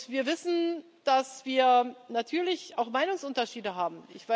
Wir wissen, dass wir natürlich auch Meinungsunterschiede haben.